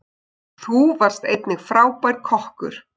Þú varst einnig frábær kokkur.